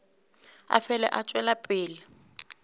a fele a tšwela pele